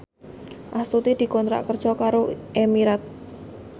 Astuti dikontrak kerja karo Emirates